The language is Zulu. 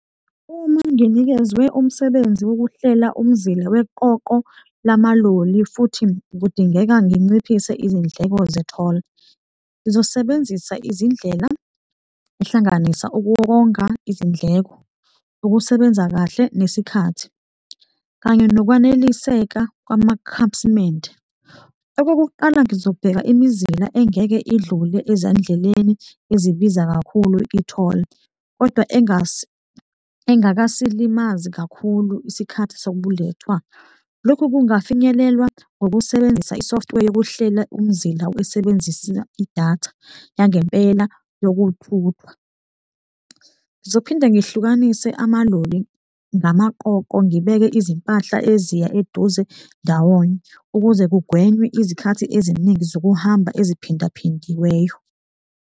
Uma nginikezwe umsebenzi wokuhlela umzila weqoqo lamaloli futhi kudingeka nginciphise izindleko ze-toll, ngizosebenzisa izindlela ehlanganisa ukuwonga izindleko, ukusebenza kahle nesikhathi kanye nokwaneliseka kwamakhasimende. Okokuqala ngizobheka imizila engeke idlule ezandleleni ezibiza kakhulu, i-toll kodwa engakasilimazi kakhulu isikhathi sobulethwa, lokhu kungafinyelelwa ngokusebenzisa i-software yokuhlela umzila esebenzisa idatha yangempela yokuthuthwa. Ngizophinde ngihlukanise amaloli ngamaqoqo, ngibeke izimpahla eziya eduze ndawonye ukuze kugwenywe izikhathi eziningi zokuhamba eziphindaphindiweyo.